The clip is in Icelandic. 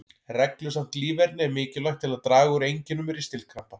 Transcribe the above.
Reglusamt líferni er mikilvægt til að draga úr einkennum ristilkrampa.